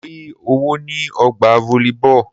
Mo rí owó ní ọgbà volleyball.